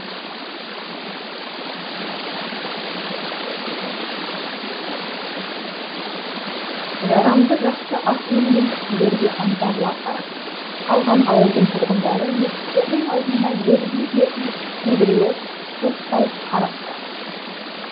жарамды жақсы ат мінген кісілерге аңтарыла қарап қалған ауылдың тұрғындары есіктерінің алдында ербиіп ербиіп кейбіреуі көз сала қарап тұр